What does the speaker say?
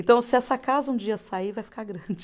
Então se essa casa um dia sair, vai ficar grande.